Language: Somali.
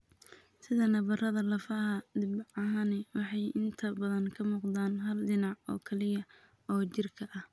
Sida nabarrada lafaha, dhibcahani waxay inta badan ka muuqdaan hal dhinac oo keliya oo jirka ah.